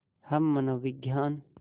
हम मनोविज्ञान